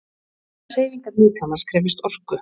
Allar hreyfingar líkamans krefjast orku.